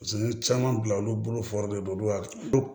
Paseke n ye caman bila olu bolo fɔri don olu hakili